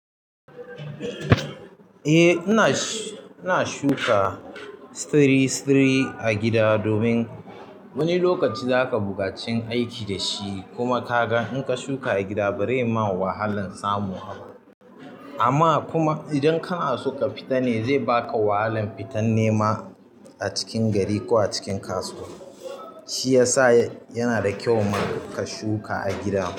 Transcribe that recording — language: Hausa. Eh, ina shuka siri-siri a gida domin wani lokaci zaka bugaci yin aiki da shi kuma ka ga in ka shuka a gida ba zai ma wahalan samu ba. Amma kuma idan kanaso ka fitane zai baka wahalan fitan nema a cikin gari ko a cikin kasuwa shiyasa yanada kyau ma ka shuka a gida.